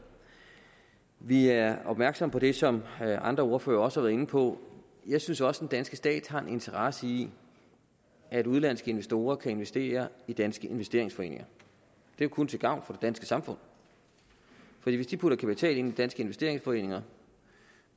vi er opmærksom på det som andre ordførere også har været inde på jeg synes også at den danske stat har en interesse i at udenlandske investorer kan investere i danske investeringsforeninger det er kun til gavn for det danske samfund for hvis de putter kapital ind i danske investeringsforeninger